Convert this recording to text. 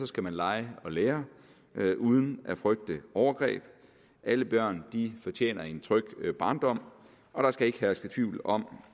skal man lege og lære uden at frygte overgreb alle børn fortjener en tryg barndom og der skal ikke herske tvivl om